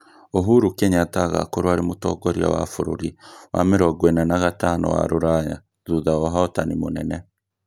uhuru Kenyatta agakorwo arĩ mũtongoria wa bũrũri wa mĩrongo ĩna na gatano wa rũraya, thutha wa ũhotani mũnene